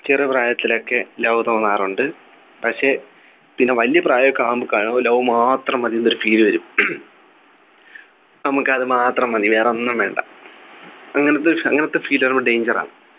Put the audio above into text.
ചെറുപ്രായത്തിൽ ഒക്കെ love തോന്നാറുണ്ട് പക്ഷേ പിന്നെ വലിയ പ്രായമൊക്കെ ആവുമ്പോൾ ക്ക് love മാത്രം മതി എന്നൊരു Feel വരും നമുക്ക് അത് മാത്രം മതി വേറൊന്നും വേണ്ട അങ്ങനത്തെ ഒരു അങ്ങനത്തെ Feel വരുമ്പോൾ danger ആണ്